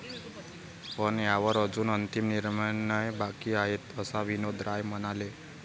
पण यावर अजून अंतिम निर्णय बाकी आहे, असं विनोद राय म्हणाले.